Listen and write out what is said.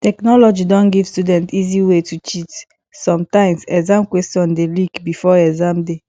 technology don give student easy wey to cheat sometimes exam questions dey leak before exam day